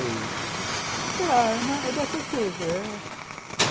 Sei lá, é dessas coisas.